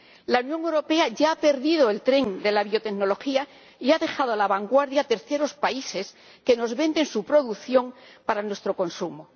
La Unión Europea ya ha perdido el tren de la biotecnología y ha dejado la vanguardia a terceros países que nos venden su producción para nuestro consumo.